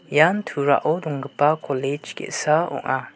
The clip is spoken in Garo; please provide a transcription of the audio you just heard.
ian turao donggipa koletch ge·sa ong·a.